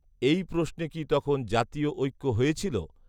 এই প্রশ্নে কি তখন জাতীয়ঐক্য হয়েছিল